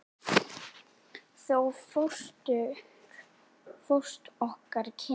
Þá hófust okkar kynni.